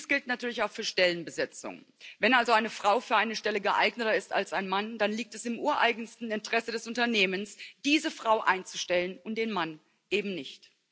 Dies gilt natürlich auch für Stellenbesetzungen. Wenn also eine Frau für eine Stelle geeigneter ist als ein Mann, dann liegt es im ureigensten Interesse des Unternehmens, diese Frau einzustellen und den Mann eben nicht.